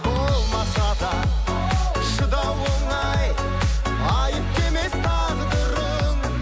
болмаса да шыдау оңай айыпты емес тағдырың